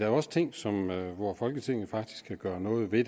er også ting som folketinget faktisk kan gøre noget ved